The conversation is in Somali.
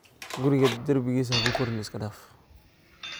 Kuriga darbikisa hakuqorin iskadaaf.